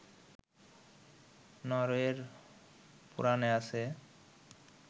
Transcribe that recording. নরওয়ের পুরাণে আছে